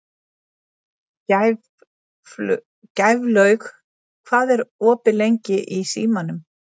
Gæflaug, hvað er opið lengi í Símanum?